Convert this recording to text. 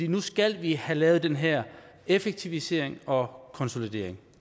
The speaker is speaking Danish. nu skal vi have lavet den her effektivisering og konsolidering